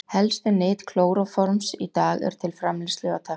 Helstu nyt klóróforms í dag eru til framleiðslu á tefloni.